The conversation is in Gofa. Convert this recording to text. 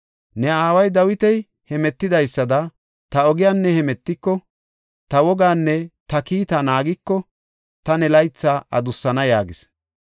Ne aaway Dawiti hemetidaysada ta ogiyan ne hemetiko, ta woganne ta kiitaa naagiko, ta ne laytha adussana” yaagis.